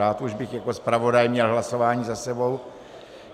Rád už bych jako zpravodaj měl hlasování za sebou.